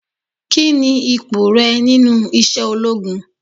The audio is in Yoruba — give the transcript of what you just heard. Kini ipò rẹ nínú iṣẹ́ ológun?